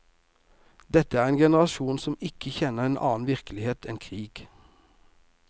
Dette er en generasjon som ikke kjenner en annen virkelighet enn krig.